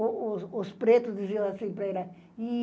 O o os pretos diziam assim para ela.